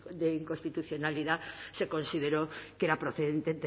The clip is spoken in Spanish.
de inconstitucionalidad se consideró que era procedente